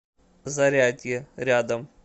зарядье рядом